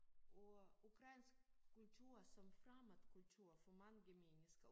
Og ukrainsk kultur som fremmed kultur for mange mennesker